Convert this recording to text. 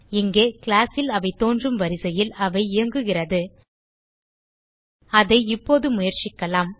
இங்கே கிளாஸ் ல் அவை தோன்றும் வரிசையில் அவை இயங்குகிறது அதை இப்போது முயற்சிக்கலாம்